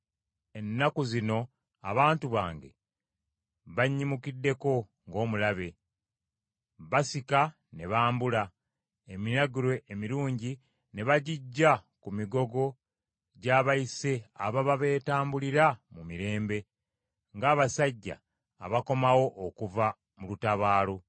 Ennaku zino abantu bange bannyimukiddeko ng’omulabe. Basika ne bambula eminagiro emirungi ne baggigya ku migongo gy’abayise ababa beetambulira mu mirembe, ng’abasajja abakomawo okuva mu lutabaalo.